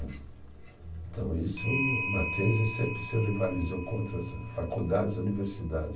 Então isso, Mackenzie sempre se rivalizou contra essa, faculdades e universidades.